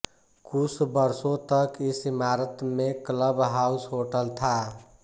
कुछ वर्षों तक इस इमारत में क्लब हाउस होटल था